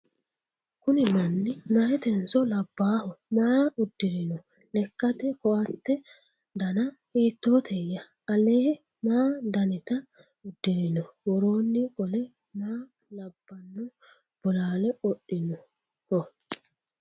Kunni manni mayiitenso ? Labbaho? Maa udirinno ? Lekkatte koatte danna hiittootteya? Alee ma dannitta udirinno? Woroonni qole maa labbanno bolaalle qodhinnoho ?